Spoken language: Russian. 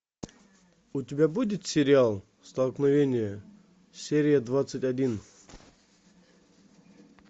у тебя будет сериал столкновение серия двадцать один